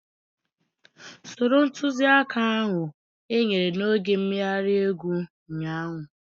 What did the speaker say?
Soro ntuziaka ahu enyere n'oge mmeghari egwu ụnyaahụ